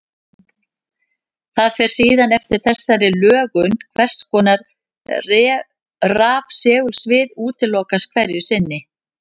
Það fer síðan eftir þessari lögun hvers konar rafsegulsvið útilokast hverju sinni.